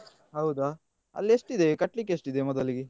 ಹೌದಾ ಅಲ್ಲಿ ಎಷ್ಟಿದೆ ಕಟ್ಲಿಕ್ಕೆ ಎಷ್ಟಿದೆ ಮೊದಲಿಗೆ?